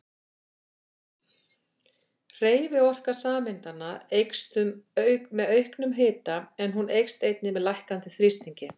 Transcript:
Hreyfiorka sameindanna eykst með auknum hita en hún eykst einnig með lækkandi þrýstingi.